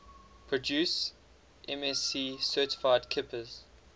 produce msc certified kippers